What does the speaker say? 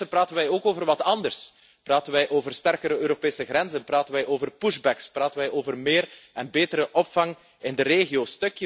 Intussen praten we ook over wat anders, praten wij over sterkere Europese grenzen, praten wij over push backs praten wij over meer en betere opvang in de regio.